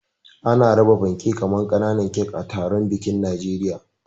Ana raba panke kaman kananan chi a taron bikin Najeriya.